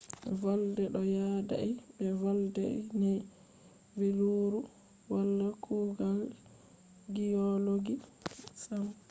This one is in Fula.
volde ɗo yaadai be volde ne vi leuru wala kugal giyologi sam